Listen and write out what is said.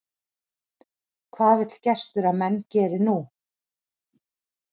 Hvað vill gestur að menn geri nú?